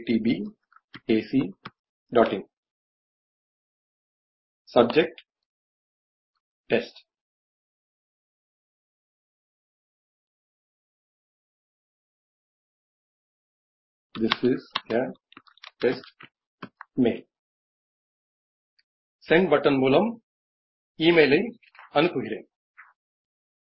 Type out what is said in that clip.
સબ્જેક્ટ160 test ઇન્ગું વરુવોમ this is a test mail send button મૂલમ ઈમેઈલ અઇ અનુપ્પુગીરેન